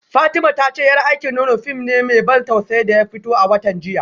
Fatima ta ce yar aikin nono fim ne mai ban tausayi da ya fito a watan jiya